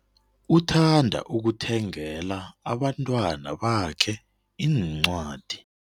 Uthanda ukuthengela abantwana bakhe iincwadi.